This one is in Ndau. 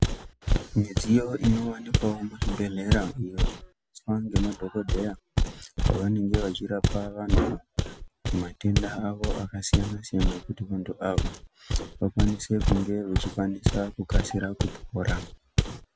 Midziyo inowanikwawo muzvibhedhlera iyo inoshandiswa ngemadhokodheya pavanenge vachirapa vantu matenda awo akasiyana siyana kuti muntu ave akwanise kunge vechikwanisa kukasira kupora